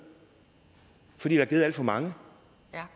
for der er givet alt for mange